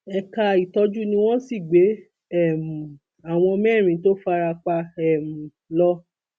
ẹka ìtọjú ni wọn sì gbé um àwọn mẹrin tó fara pa um lọ